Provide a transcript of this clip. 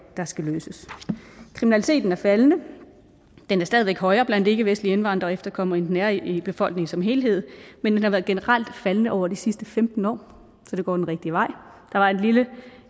der skal løses kriminaliteten er faldende den er stadig væk højere blandt ikkevestlige indvandrere og efterkommere end den er i befolkningen som helhed men den har generelt faldende over de sidste femten år så det går den rigtige vej der var et lille